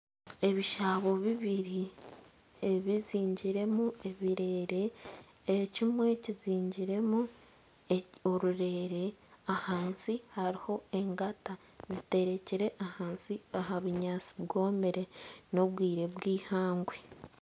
Ebishaabo bibiri ebizingiiremu ebireere ekimwe kizingiremu orurere ahansi hariho engata ziterekire ahansi aha bunyatsi bwomire n'obwire bw'ihangwe